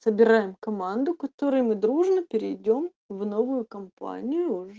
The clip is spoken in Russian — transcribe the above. собираем команду которые мы дружно перейдём в новую компанию